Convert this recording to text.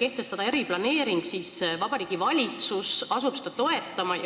kehtestada eriplaneering, siis Vabariigi Valitsus asub seda toetama.